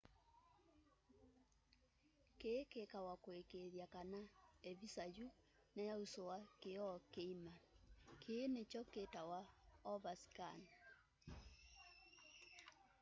kii kikawa kuikiithya kana ivisa yu niyausua kioo kiima kii nikyo kitawa overscan